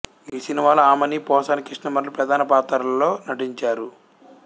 ఈ సినిమాలో ఆమని పోసాని కృష్ణమురళి ప్రధాన పాత్రల్లో నటించారు